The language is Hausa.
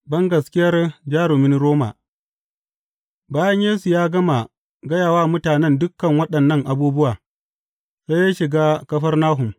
Bangaskiyar jarumin Roma Bayan Yesu ya gama gaya wa mutanen dukan waɗannan abubuwa, sai ya shiga Kafarnahum.